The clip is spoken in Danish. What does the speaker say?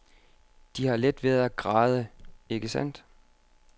De har let ved at græde, ikke sandt.